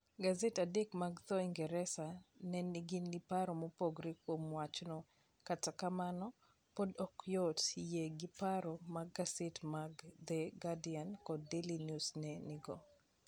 Gasede adek mag dho Ingresa ne nigi paro mopogore kuom wachno, kata kamano, podi ok yot yie gi paro ma gasede mag The Guardian kod Daily News ne nigo.